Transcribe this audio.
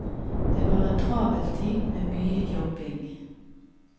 Det var en travel tid med mye jobbing.